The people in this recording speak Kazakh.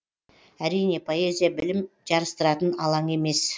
әрине поэзия білім жарыстыратын алаң емес